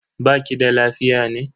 Baki da lafiya ne?